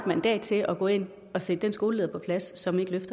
mandat til at gå ind og sætte den skoleleder på plads som ikke